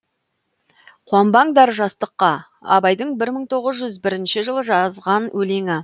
қуанбаңдар жастыққа абайдың бір мың тоғыз жүз бірінші жылы жазған өлеңі